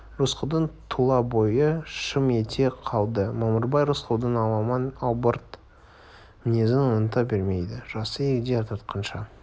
рысқұлдың тұла бойы шым ете қалды мамырбай рысқұлдың аламан албырт мінезін ұната бермейді жасы егде тартқанша